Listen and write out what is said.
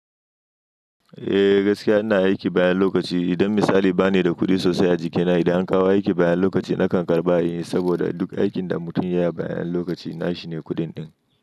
Eh gaskiya ana aiki bayan lokaci. Idan misali ba ni da kuɗi sosai a jikina idan an kawo aiki bayan lokaci nakan karɓa inyi saboda duk aikin da mutum ya yi bayan lokaci nashi ne kuɗin ɗin.